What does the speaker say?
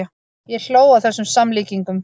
Ég hló að þessum samlíkingum.